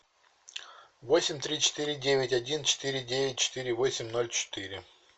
восемь три четыре девять один четыре девять четыре восемь ноль четыре